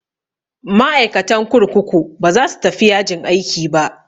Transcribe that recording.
Ma'aikatan kurkuku ba za su tafi yajin aiki ba.